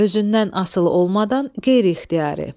Özündən asılı olmadan qeyri-ixtiyari.